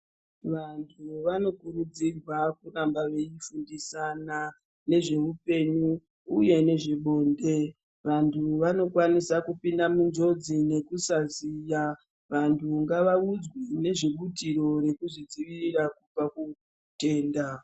Vantu vanokurudzirwa kuramba veifundisana nezveupenyu uye nezve bonde vantu, vanokwanisa kupinda munjodzi nekusaziya, vantu ngavaudzwe nezvebutiro rekuzvidzivirira kubva kutenda.